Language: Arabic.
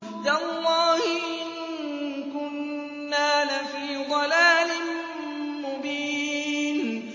تَاللَّهِ إِن كُنَّا لَفِي ضَلَالٍ مُّبِينٍ